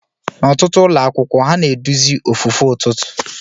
N'ọtụtụ ụlọ akwụkwọ, ha na-eduzi ofufe ụtụtụ.